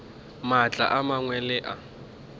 maatla a mangwe le a